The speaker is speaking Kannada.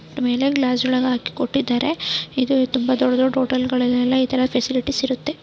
ಮೈಲಾ ಗ್ಲಾಸ್ ಒಳಗೆ ಹಾಕಿ ಕೊಟ್ಟಿದ್ದಾರೆ ಇದು ತುಂಬಾ ದೊಡ್ಡ ದೊಡ್ಡ ಹೋಟೆಲ್ಗಳಲ್ಲಿ ಇತರ ಫೆಸಿಲಿಟಿ ಇರುತ್ತೆ --